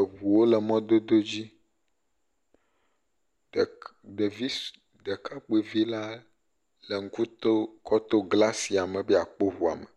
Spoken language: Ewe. Eŋuwo le mɔdodo dzi, ɖek..ɖevi.ss.ɖekakpovi ;la ɖe ŋku to kɔ to glasia me be yeakpɔ ŋua me,